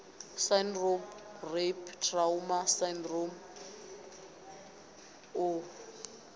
syndrome rape trauma sydrome u